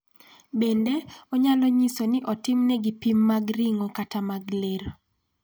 Bende, onyalo nyiso ni otimnegi pim mag ring'o kata mag ler.